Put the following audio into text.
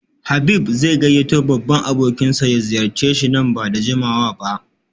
Habib zai gayyato babban abokinsa ya ziyarce shi nan ba da jimawa ba